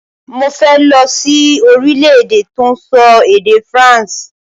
Mo fẹ́ lọ sí orílẹ̀-èdè tọ́n sọ èdè Faransé